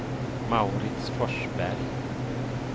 Mauritz Forsberg